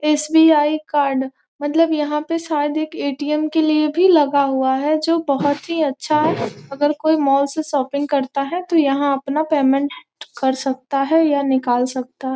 SBI. Card मतलब यहाँ पे शायद एक ए.टी.एम. के लिए भी लगा हुआ है जो बहुत ही अच्छा है अगर कोई मॉल से शॉपिंग करता है तो यहाँ अपना पेमेंट कर सकता है या निकाल सकता है।